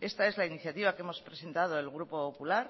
esta es la iniciativa que hemos presentado el grupo popular